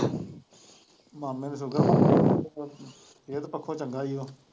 ਮਾਮੇ ਨੂੰ ਸੂਗਰ ਸਿਹਤ ਪੱਖੋਂ ਚੰਗਾ ਸੀ ਉਹ